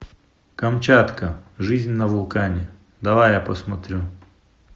камчатка жизнь на вулкане давай я посмотрю